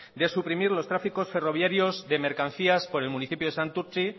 de suprimir los tráficos ferroviarios de mercancías por el municipio de santurtzi